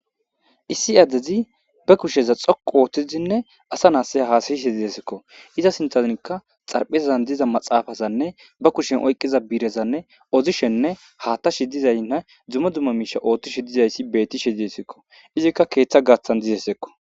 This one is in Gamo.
Issi addezi ba kusheza xoqu ooththizinne asa naasse haasayishe idesikko iza sintanikka xarphezzan diza maxaafazanne ba kushen oyqqiza biirezanne ozishenne haatta shi dizaynna dzumma dumma miisha oothtishe dizayssi bettishe didesikko izikka keeththa gaaththan dizesekko